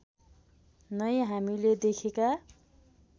नै हामीले देखेका